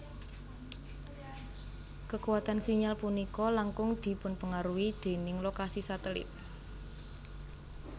Kekuatan sinyal punika langkung dipunpengaruhi déning lokasi satelit